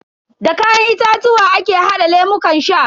Da kayan itatuwa ake hada lemukan sha.